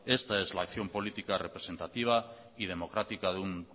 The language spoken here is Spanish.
esta es la acción política representativa y democrática de un